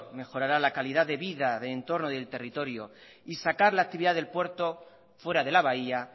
mejorará la calidad de vida del entorno y del territorio y sacar la actividad del puerto fuera de la bahía